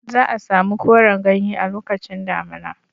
Za a samu koran ganye a lokacin damina.